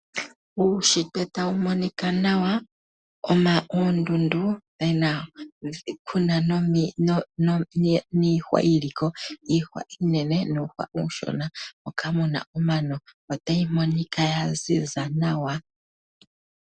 Uushitwe tawu monika nawa muna oondundu kuna iihwa iinene nuushwa uushona moka muna omano. Otayi monika yaziza nawa.